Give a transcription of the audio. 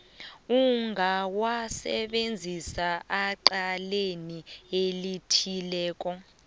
engawasebenzisa ecaleni elithileko